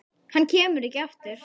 Hann kemur ekki aftur.